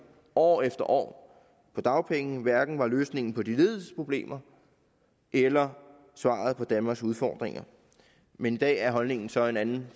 år efter år på dagpenge hverken er løsningen på de lediges problemer eller svaret på danmarks udfordringer men i dag er regeringens holdning så en anden